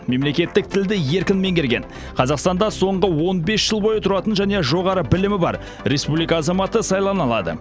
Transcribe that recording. мемлекеттік тілді еркін меңгерген қазақстанда соңғы он бес жыл бойы тұратын және жоғары білімі бар республика азаматы сайлана алады